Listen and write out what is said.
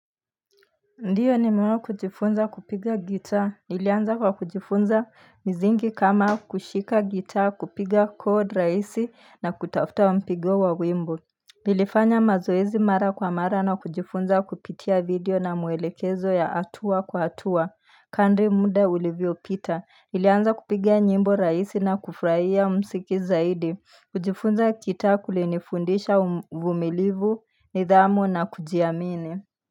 Ndiyo, nimewahi kujifunza kupiga gitaa. Nilianza kwa kujifunza misingi kama kushika gitaa, kupiga kodi rahisi na kutafuta mpigo wa wimbo. Nilifanya mazoezi mara kwa mara na kujifunza kupitia video na maelekezo ya hatua kwa hatua. Kadiri muda ulivyopita, nilianza kupiga nyimbo rahisi na kufurahia muziki zaidi. Kujifunza gitaa kulinifundisha uvumilivu, nidhamu na kujiamini.